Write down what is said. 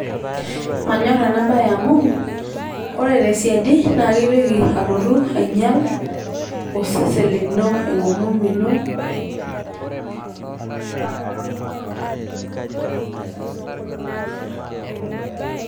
Manyor ena bae amu ore te siadi naa kitoki alotu ainyial osesen lino enkomom ino